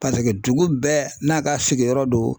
dugu bɛɛ n'a ka sigiyɔrɔ don